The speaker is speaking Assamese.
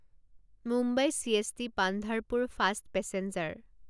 Mumbai CST Pandharpur fast passenger